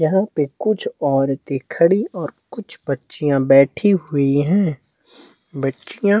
यहाँ पे कुछ औरतें खड़ी और कुछ बच्चियां बैठी हुई है बच्चियां--